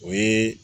O ye